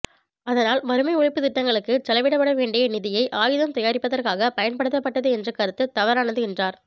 அதனால் வறுமை ஒழிப்புத் திட்டங்களுக்குச் செலவிடப்பட வேண்டிய நிதியை ஆயுதம் தயாரிப்பதற்காகப் பயன்படுத்தப்பட்டது என்ற கருத்து தவறானது என்றார்